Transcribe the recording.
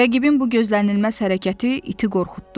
Rəqibin bu gözlənilməz hərəkəti iti qorxutdu.